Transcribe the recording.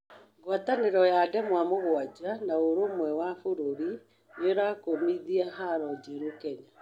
ngwatanĩro ya ndemwa mũgwanja na ũrũmwe wa mabũrũri nĩrakũmĩthĩa haro njeru Kenya